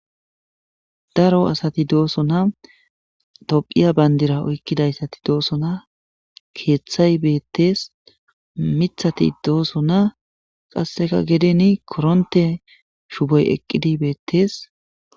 Daro asati doosona. Tophphiya bandira oykkidayssati doosona. Keeththay beettes. Miththati doosona, qasseka geden koronte shuboy eqqidi beettes.